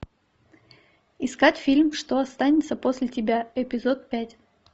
искать фильм что останется после тебя эпизод пять